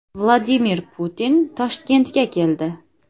Vladimir Putin Toshkentga keldi.